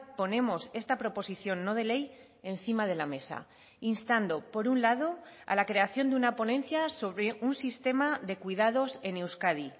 ponemos esta proposición no de ley encima de la mesa instando por un lado a la creación de una ponencia sobre un sistema de cuidados en euskadi